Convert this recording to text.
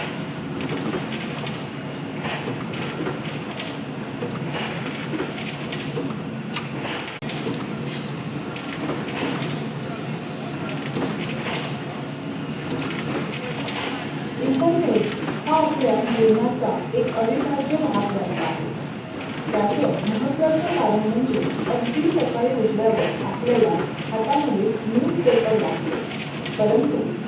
Internet हा आपल्या जीवनाचा एक आविभाज्य बनला अहे. तयाच महत्वाच करण म्हजे अगदी साकडी उठलायवर् आपलायला हाता मध्ये newspaper लागतो परंतु